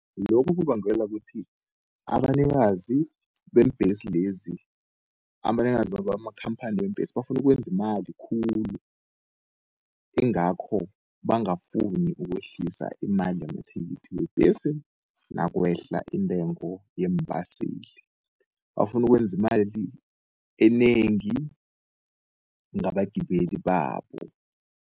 Lokho kubangelwa ukuthi abanikazi beembhesi lezi, abanikazi bamakhamphani weembhesi bafunu ukwenza imali khulu. Ingakho bangafuni ukwehlisa imali yamathikithi webhesi, nakwehla intengo yeembaseli. Bafunu ukwenza imali enengi, ngabagibeli babo.